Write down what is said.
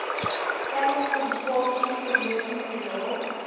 stellings publikasies promosiemateriaal